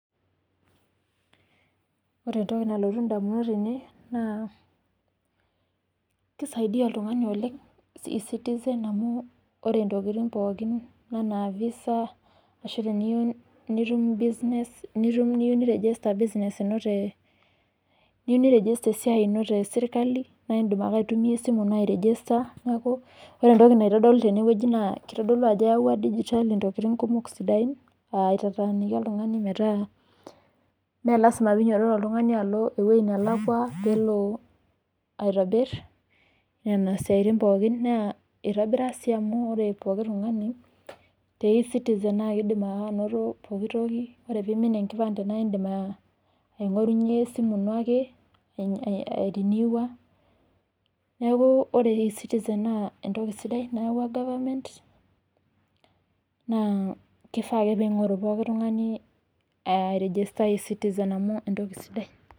Ore entoki nalotu indamunot tene naa kisaidia oltung'ani oleng' eCitizen amu ore intokiting pookin enaa visa ashu teniyieu nitum business, nitum niyieu niregista business ino te, niyie niregista esiai ino tesirkali, naa indim ake aitumia esimu ino airegista neeku. ore entoki naitodolu tene naa kitodolu ajo eyauwua digitali intokiting kumok sidain aitataaniki oltung'ani metaa mee lazima piinyototo oltung'ani alo ewuei nelakwa peelo aitobirr nena siaitin pookin. Naa eitobira sii amu ore pooki tung'ani, te eCitizen naa keidim naake anoto pooki toki. Ore peimin enkipande naindim aing'orunye esimu ino ake ariniwa neeku ore eCitizen naa entoki sidai e government naa kifaa ake piing'oru pooki tung'ani airegista eCitizen amu entoki sidai